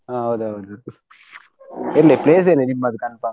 ಹಾ ಹೌದೌದು ಎಲ್ಲಿ place ಎಲ್ಲಿ ನಿಮ್ಮದು confirm ?